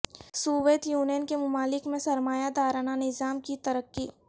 Soviet Union کے ممالک میں سرمایہ دارانہ نظام کی ترقی